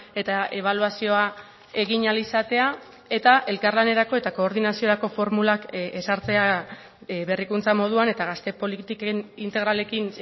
eta ebaluazioa egin ahal izatea eta elkarlanerako eta koordinaziorako formulak ezartzea berrikuntza moduan eta gazte politiken integralekin